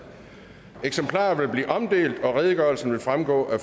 eksemplarer vil blive omdelt og redegørelsen vil fremgå af